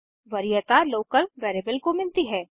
वरीयता local variable को मिलती है